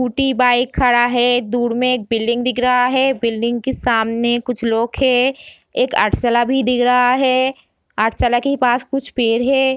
Scooty bike खड़ा है दूर में एक बिल्डिंग दिख रहा है बिल्डिंग के सामने कुछ लोग हैं एक पाठशाला भी दिख रहा है पाठशाला के ही पास कुछ पेड़ है।